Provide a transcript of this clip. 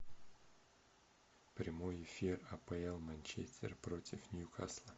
прямой эфир апл манчестер против ньюкасла